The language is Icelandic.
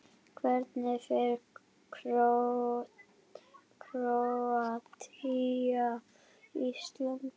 Hvernig fer Króatía- Ísland?